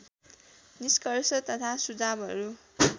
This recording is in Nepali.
निष्कर्ष तथा सुझावहरू